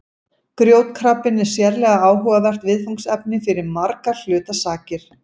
Grjótkrabbinn er sérlega áhugavert viðfangsefni fyrir margra hluta sakir.